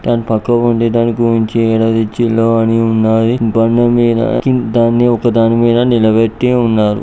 దాని పక్కపొంటి దానిగురించి ఏడ తెచ్చిల్లో అని ఉన్నాయి బండమీద కి-దాన్ని ఒకదానమీద నిలవెట్టి ఉన్నారు.